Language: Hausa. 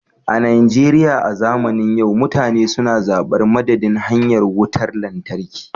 A Najeriya a zamanin yau mutane suna zabar madadin hanyar Wutar Lantarki